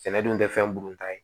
Sɛnɛ dun tɛ fɛn bu ta ye